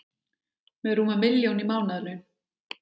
Með rúma milljón í mánaðarlaun